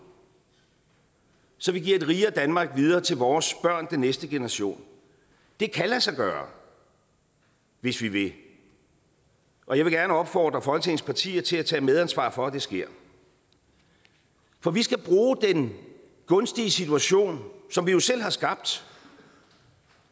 så vi giver et rigere danmark videre til vores børn den næste generation det kan lade sig gøre hvis vi vil og jeg vil gerne opfordre folketingets partier til at tage medansvar for at det sker for vi skal bruge den gunstige situation som vi jo selv har skabt